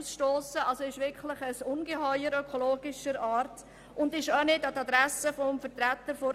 Das ist wirklich ein Ungeheuer bezüglich Ökologie, und wahrscheinlich wird er auch nicht durch einen Benachteiligten gefahren;